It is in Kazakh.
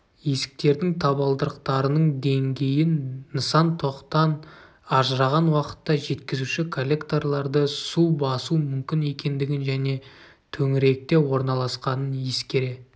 есіктердің табалдырықтарының деңгейін нысан тоқтан ажыраған уақытта жеткізуші коллекторларды су басу мүмкін екендігін және төңіректе орналасқанын ескере